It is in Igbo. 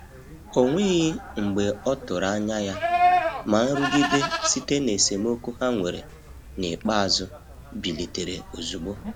O nweghị mgbe ọtụrụ anya ya, ma nrụgide site na esemokwu ha nwere n'ikpeazụ bilitere ozugbo.